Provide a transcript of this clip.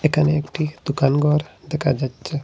এখানে একটি দোকানঘর দেখা যাচ্ছে।